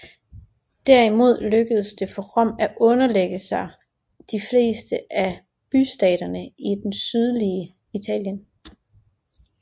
Derimod lykkedes det for Rom at underlægge sig de fleste af bystaterne i det sydlige Italien